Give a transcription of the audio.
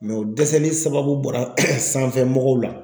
o dɛsɛli sababu bɔra sanfɛ mɔgɔw la.